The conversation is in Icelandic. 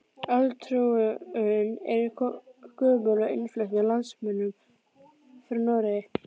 Álfatrúin er gömul og innflutt með landnámsmönnum frá Noregi.